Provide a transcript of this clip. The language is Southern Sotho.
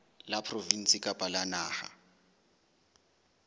la provinse kapa la naha